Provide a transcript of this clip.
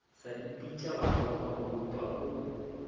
sa ipitša baroka maupa o